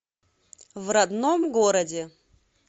в родном городе